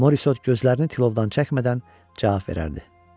Morisot gözlərini tilovdan çəkmədən cavab verərdi.